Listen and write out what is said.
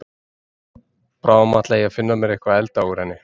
Bráðum ætla ég að finna mér eitthvað að elda úr henni.